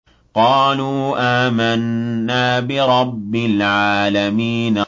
قَالُوا آمَنَّا بِرَبِّ الْعَالَمِينَ